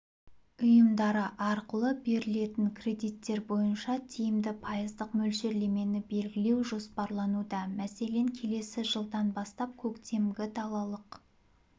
ұйымдары арқылы берілетін кредиттер бойынша тиімді пайыздық мөлшерлемені белгілеу жоспарлануда мәселен келесі жылдан бастап көктемгі-далалық